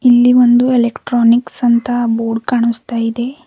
ಇಲ್ಲಿ ಒಂದು ಎಲೆಕ್ಟ್ರಾನಿಕ್ಸ್ ಅಂತ ಬೋರ್ಡ್ ಕಾಣಿಸುತ್ತಿದೆ.